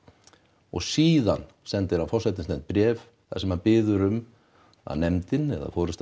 og síðan sendir á forsætisnefnd bréf þar sem hann biður um að nefndin eða forysta